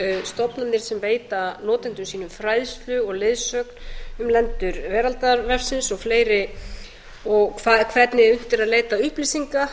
stofnanir sem beita notendum sínum fræðslu og leiðsögn um lendur veraldarvefsins og hvernig unnt er að leita upplýsinga